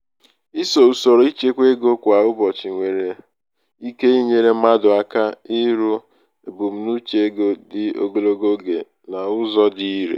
ịso usoro ịchekwa um ego kwa ụbọchị nwere ụbọchị nwere ike inyere mmadụ aka iru ebumnuche ego dị ogologo oge n'ụzọ um dị irè.